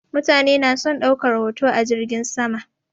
Mutane na son ɗaukar hoto a jirgin sama.